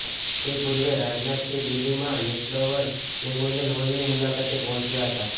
તે પૂર્વે રાજનાથસિંહ દિલ્લીમાં નેશનલવોર મેમોરિયલ હોલની મુલાકાતે પહોંચ્યા હતા